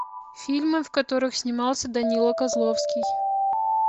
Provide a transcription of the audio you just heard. фильмы в которых снимался данила козловский